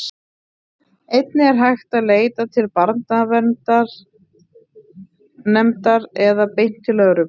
einnig er hægt að leita til barnaverndarnefndar eða beint til lögreglu